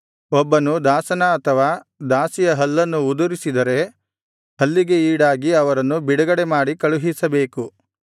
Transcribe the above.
ಒಬ್ಬನು ದಾಸನ ಅಥವಾ ದಾಸಿಯ ಹಲ್ಲನ್ನು ಉದುರಿಸಿದರೆ ಹಲ್ಲಿಗೆ ಈಡಾಗಿ ಅವರನ್ನು ಬಿಡುಗಡೆಮಾಡಿ ಕಳುಹಿಸಬೇಕು